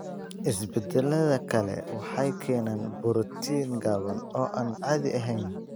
Isbeddellada kale waxay keenaan borotiin gaaban oo aan caadi ahayn.